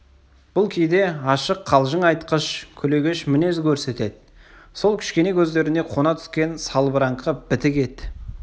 бұл кейде ашық қалжың айтқыш күлегеш мінез көрсетеді сол кішкене көздеріне қона түскен салбыраңқы бітік ет